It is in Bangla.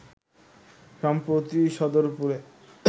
সম্প্রতি সদরপুরে